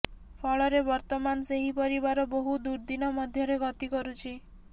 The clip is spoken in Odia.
ଫଳରେ ବର୍ତ୍ତମାନ ସେହି ପରିବାର ବହୁ ଦୁର୍ଦିନ ମଧ୍ୟରେ ଗତି କରୁଛି